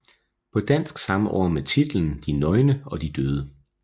På dansk samme år med titlen De nøgne og de døde